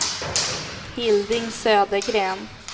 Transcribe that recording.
Hilding Södergren